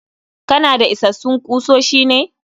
Kanada isassun kusoshi ne?